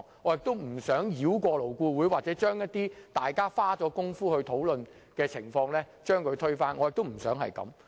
我亦不想繞過勞顧會，將一些大家花工夫討論得來的成果推翻。